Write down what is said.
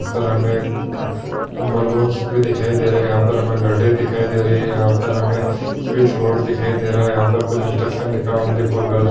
यहाँ पर हमें बैलून्स भी दिखाई दे रहे हैं यहाँ पे गाड़ी दिखाई दे रहे है यहाँ पर हमें स्विच बोर्ड दिखाई दे रहा हैं यहाँ पर कुछ इंस्ट्रक्शन लिखा हुआ है ओनली फॉर गर्ल्स ।